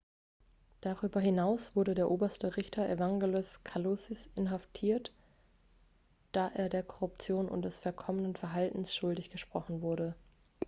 darüber hinaus wurde der oberste richter evangelos kalousis inhaftiert da er der korruption und des verkommenen verhaltens schuldig gesprochen wurde